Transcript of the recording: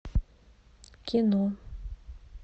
кино